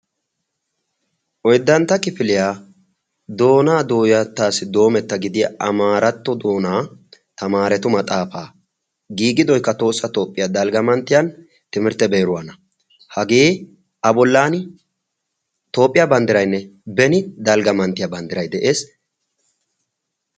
oyddantta kifiliyaa doonaa dooyattaassi doometta gidiya amaaratto doonaa tamaaretu maxaafaa giigidoikka toossa toophphiyaa dalgga manttiyan timirtte biiruwaana hagee a bolan toophphiyaa banddirainne beni dalgga manttiyaa banddirai de'ees.